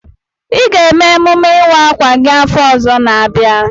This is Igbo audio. I ga-eme emume ịwa akwa gị afọ ọzọ n'abia.